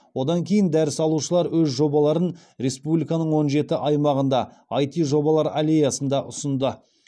одан кейін дәріс алушылар өз жобаларын республиканың он жеті аймағында іт жобалар аллеясында ұсынды